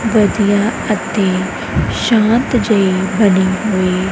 ਵਧੀਆ ਅਤੇ ਸ਼ਾਂਤ ਜੇਹੀ ਬਨੀ ਹੋਈ--